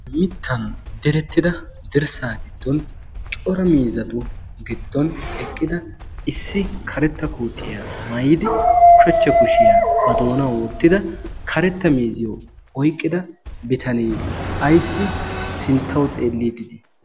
mittan derettida dirssaa giddon cora miizatu giddon eqqida issi karetta kootiyaa maayidi ushachcha kushiyaa ba doonawu wottida karetta miiziyo oyqqida bitanee ayssi sinttawu xeellii didii?